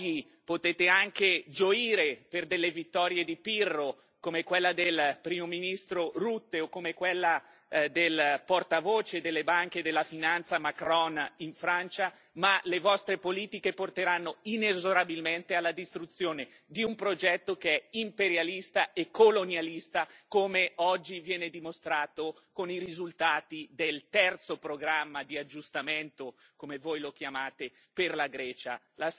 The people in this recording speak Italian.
Oggi potete anche gioire per delle vittorie di Pirro, come quella del Primo ministro Rutte o come quella del portavoce delle banche e della finanza Macron in Francia, ma le vostre politiche porteranno inesorabilmente alla distruzione di un progetto che è imperialista e colonialista, come oggi viene dimostrato con i risultati del terzo programma di aggiustamento come voi lo chiamate per la Grecia.